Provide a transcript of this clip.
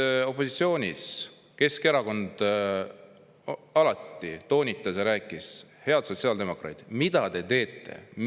Keskerakond opositsioonis olles alati toonitas ja rääkis: "Head sotsiaaldemokraadid, mida te teete?